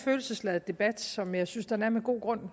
følelsesladet debat som jeg synes den er med god grund